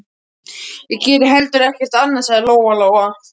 Ég geri heldur ekkert annað, sagði Lóa Lóa.